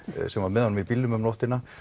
sem var með honum í bílnum um nóttina